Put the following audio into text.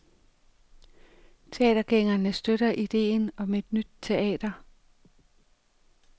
Teatergængerne støtter ideen om et nyt teater.